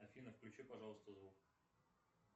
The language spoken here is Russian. афина включи пожалуйста звук